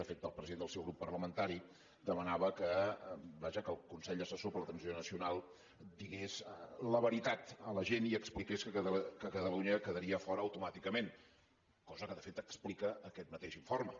de fet el president del seu grup parlamentari demanava que vaja que el consell assessor per a la transició nacional digués la veritat a la gent i expliqués que catalunya quedaria fora automàticament cosa que de fet explica aquest mateix informe